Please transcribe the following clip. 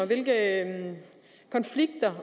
hvilke konflikter